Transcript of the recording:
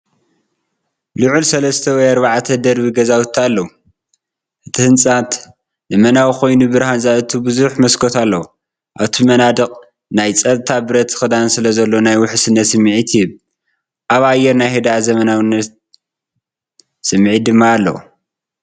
ልዑል ሰለስተ ወይ ኣርባዕተ ደርቢ ገዛውቲ ኣለዉ። እቲ ህንጸት ዘመናዊ ኮይኑ ብርሃን ዘእቱ ብዙሕ መስኮት ኣለዎ። ኣብቲ መናድቕ ናይ ጸጥታ ብረት ክዳን ስለዘሎ ናይ ውሕስነት ስምዒት ይህብ። ኣብ ኣየር ናይ ህድኣትን ዘመናዊነትን ስምዒት ድማ ኣለዎ።